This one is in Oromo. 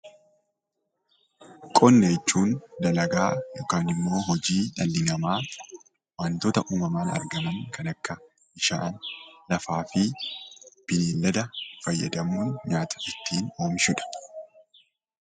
Qonna jechuun dalagaa yookiin immoo hojii waantota dhalii nama waantoota uumamaan argaam kan akka bishaan, lafaafi belladaa faayadamuun nyaata ittin oomishuudha.